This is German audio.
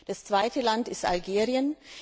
Das zweite Land ist Algerien.